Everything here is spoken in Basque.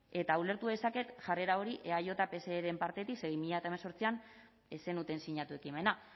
eta ulertu dezaket jarrera hori eaj pseren partetik ze bi mila hemezortzian ez zenuten sinatu ekimena